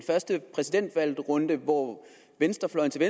første præsidentvalgrunde hvor venstrefløjen til